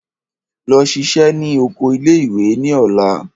Lọ ṣiṣẹ́ ní oko ilé ìwé ní ọ̀la!